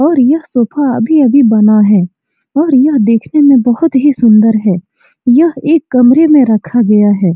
और यह सोफा अभी अभी बना है और यह देखने में बहुत ही सुन्दर है | यह एक कमरे में रखा गया है।